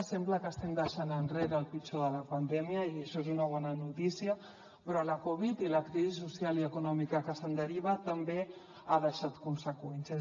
sembla que estem deixant enrere el pitjor de la pandèmia i això és una bona notícia però la covid i la crisi social i econòmica que se’n deriva també ha deixat conseqüències